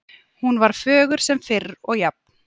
Hún var fögur sem fyrr og jafn